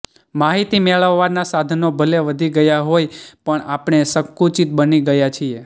માહિતી મેળવવાનાં સાધનો ભલે વધી ગયાં હોય પણ આપણે સંકુચિત બની ગયા છીએ